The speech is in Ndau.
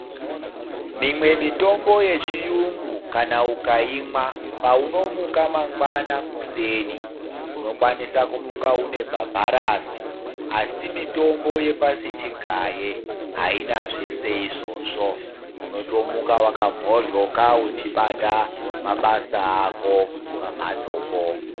Mimwe mitombo yechiyungu kana ukaimwa paunomuka mangwana kuseni unokwanisa kumuka une bhabharasi. Asi mitombo yepasi chigaye haina zvese izvozvo, unotomuka vakamhoryoka uchibata mabasa ako pamhatsopo.